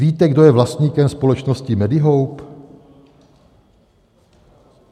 Víte, kdo je vlastníkem společnosti Medihope?